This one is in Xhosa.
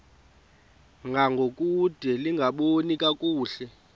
ngangokude lingaboni kakuhle